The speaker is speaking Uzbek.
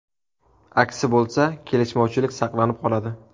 Aksi bo‘lsa, kelishmovchilik saqlanib qoladi.